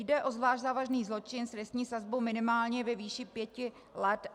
Jde o zvlášť závažný zločin s trestní sazbou minimálně ve výši pěti let.